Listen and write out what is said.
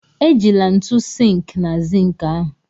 Ejila ntu sink na zink ahụ!